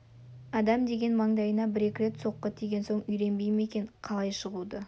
адам деген маңдайына бір-екі рет соққы тиген соң үйренбей ме екен қалай шығуды